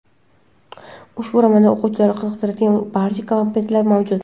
Ushbu romanda o‘quvchini qiziqtiradigan barcha komponentlar mavjud.